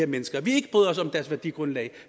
mennesker at vi ikke bryder os om deres værdigrundlag at